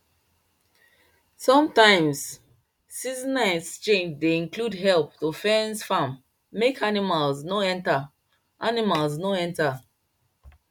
sometimes seasonal exchange dey include help to fence farm make animals no enter animals no enter